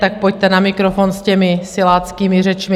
Tak pojďte na mikrofon s těmi siláckými řečmi!